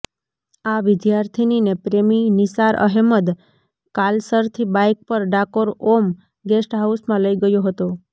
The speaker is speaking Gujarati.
આ વિદ્યાર્થિનીને પ્રેમી નિશારઅહેમદ કાલસરથી બાઇક પર ડાકોર ઓમ ગેસ્ટ હાઉસમાં લઇ ગયો હતો